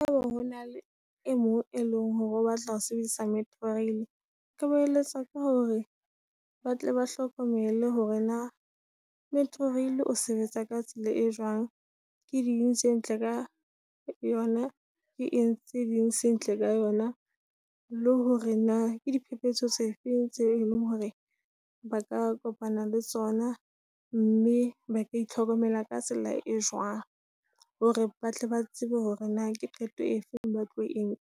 Haeba hona le e mong e leng hore o batla ho sebedisa Metrorail, ke mo eletsa ka hore ba tle ba hlokomele hore na Metrorail o sebetsa ka tsela e jwang. Ke ding tse ntle ka yona, ke eng tse ding sentle ka yona. Le hore na ke di phephetso tse feng tse eleng hore ba ka kopana le tsona, mme ba ka itlhokomela ka tsela e jwang. Hore batle ba tsebe hore na ke qeto e feng batlo e nka.